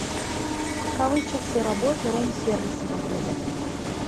каковы часы работы рум сервиса в отеле